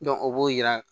o b'o yira